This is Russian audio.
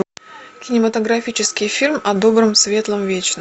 кинематографический фильм о добром светлом вечном